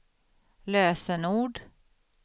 lösenord